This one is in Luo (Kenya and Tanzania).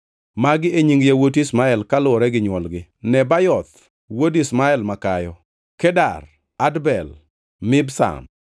Magi e nying yawuot Ishmael kaluwore gi nywolgi: Nebayoth, wuod Ishmael makayo, Kedar, Adbel, Mibsam,